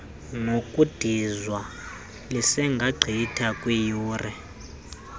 nokudizwa lisengagqitha kwiiyure